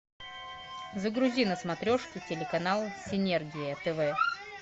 загрузи на смотрешке телеканал синергия тв